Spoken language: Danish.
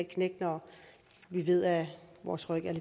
knæk når vi ved at vores ryg er